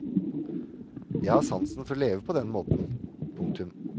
Jeg har sansen for å leve på den måten. punktum